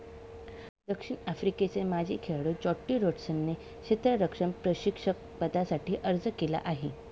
दक्षिण आफ्रिकेचे माजी खेळाडू ज्याँटी रोड्सने क्षेत्ररक्षण प्रशिक्षक पदासाठी अर्ज केला आहे.